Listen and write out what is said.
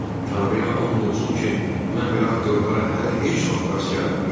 Tanrıya and olsun ki, mən belə aktyorlara hələ heç vaxt rast gəlməmişdim.